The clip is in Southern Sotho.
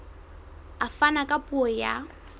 a fana ka puo ya